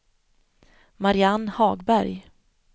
Mariann Hagberg